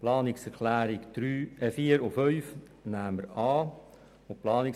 Die Planungserklärungen 4 und 5 nehmen wir an.